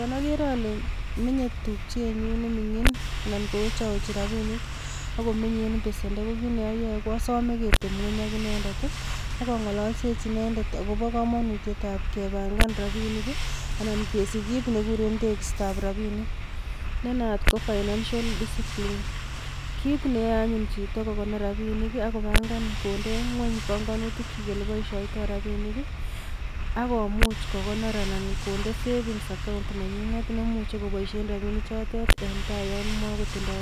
Yon agere menye tupchenyun ne mingin anan kowechawechi rapinik ak komenye en besendo kokit ne ayae asame ketepngweny ak inendet ii ak angalalsechi inendet agobo kamanutietab kepangan rapinik ii anan kesich kit nekiguren tegistoab rapinik. Ne naat ko financial discipline. Kit neyoe anyun chito kogonor rapinik ak kopangan konde ngweny panganityik olepaisyoitoi rapinik ii ak komuch kogonor anan konde savings account nenyinet nemuchi koboisien rapinik chotet en tai yonmogotindo